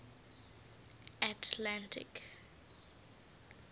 atlantic